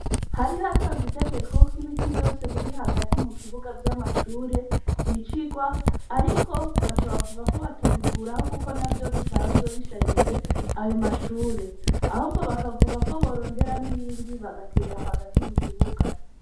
Hari hatanzwe itegeko ko ibiti vyose biri hagati mukibuga vy'amashure vyicirwa, ariko baca bavuga ko batobikuraho kuko navyo bisanzwe bisharije ayo mashure, ahubwo bakavuga ko borondera n'ibindi bagatera ahi hagati mukibuga.